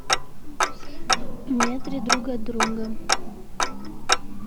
в метре друг от друга